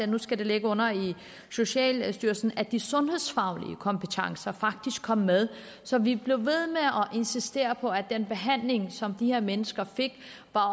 det skulle ligge under socialstyrelsen at de sundhedsfaglige kompetencer faktisk kom med så vi blev ved med at insistere på at den behandling som de her mennesker fik